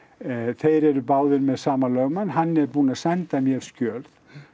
þeir eru báðir með sama lögmann hann er búinn að senda mér skjöl